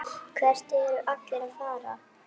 Hvert eru allir að fara?